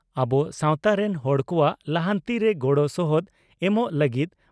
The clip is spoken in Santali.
ᱟᱵᱚ ᱥᱟᱣᱛᱟ ᱨᱮᱱ ᱦᱚᱲ ᱠᱚᱣᱟᱜ ᱞᱟᱦᱟᱱᱛᱤ ᱨᱮ ᱜᱚᱲᱚ ᱥᱚᱦᱚᱫ ᱮᱢᱚᱜ ᱞᱟᱹᱜᱤᱫ